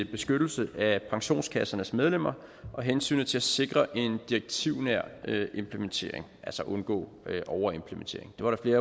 beskyttelse af pensionskassernes medlemmer og hensynet til at sikre en direktivnær implementering altså at undgå overimplementering det var der